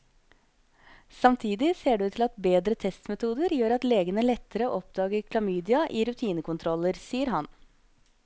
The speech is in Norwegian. Samtidig ser det ut til at bedre testmetoder gjør at legene lettere oppdager chlamydia i rutinekontroller, sier han.